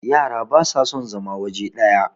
yara ba sa son zama waje daya